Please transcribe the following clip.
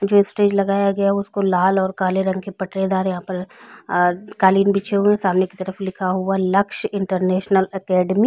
जो स्टेज लगाया गया है उसको लाल और काले रंग के पटरे डाले है यहाँ पर अ कालीन बिछी हुए है सामने की तरफ लिखा हुआ है लक्ष्य इंटरनेशनल अकैडेमी --